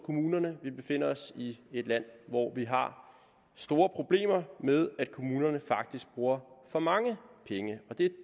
kommunerne vi befinder os i et land hvor vi har store problemer med at kommunerne faktisk bruger for mange penge og det